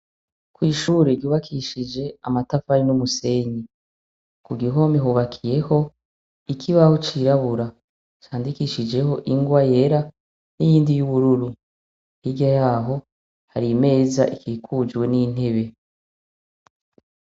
Kw'ishure ryubakishije amatafari n'umusenyi, ku gihome hubakiyeho ikibaho cirabura candikishijeho ingwa yera n'iyindi y'ubururu, hirya yaho hari imeza ikikujwe n'intebe.